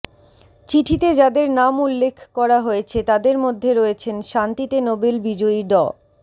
চিঠিতে যাদের নাম উল্লেখ করা হয়েছে তাদের মধ্যে রয়েছেন শান্তিতে নোবেল বিজয়ী ড